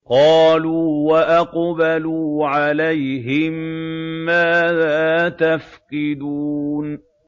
قَالُوا وَأَقْبَلُوا عَلَيْهِم مَّاذَا تَفْقِدُونَ